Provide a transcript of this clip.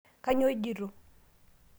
kanyoo ijito